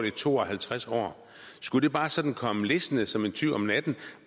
i to og halvtreds år skulle det bare sådan komme listende som en tyv om natten